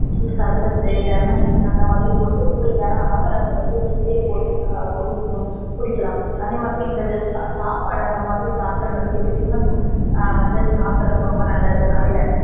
juice சர்பத்து lemon அந்த மாதிரி போட்ட cooling ஆன ஆகாரங்கள் வந்து வீட்லையே போட்டு குடிக்கணும் குடிக்கலாம் அதே மாதிரி இந்த சாப்பாடு அந்த மாதிரி சாப்டரதுனால tiffin வந்து சாப்டறது ரொம்ப நல்லது காலையில